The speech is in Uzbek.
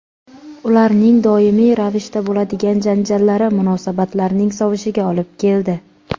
Ularning doimiy ravishda bo‘ladigan janjallari munosabatlarning sovishiga olib keldi.